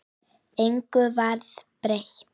Engu varð breytt.